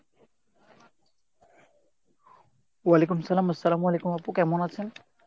ওয়া'আলাইকুমুস-সালাম, আস-সালামু আলাইকুম আপু , কেমন আছেন?